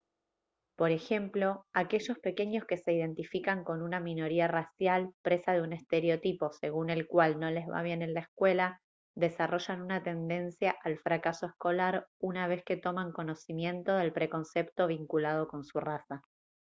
por ejemplo aquellos pequeños que se identifican con una minoría racial presa de un estereotipo según el cual no les va bien en la escuela desarrollan una tendencia al fracaso escolar una vez que toman conocimiento del preconcepto vinculado con su raza